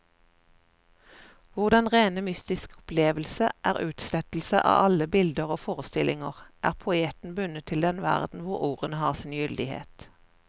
Hvor den rene mystiske opplevelse er utslettelse av alle bilder og forestillinger, er poeten bundet til den verden hvor ordene har sin gyldighet.